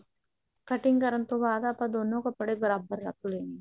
cutting ਕਰਨ ਤੋਂ ਬਾਅਦ ਆਪਾਂ ਦੋਨੋ ਕੱਪੜੇ ਬਰਾਬਰ ਰੱਖ ਲੈਣਾ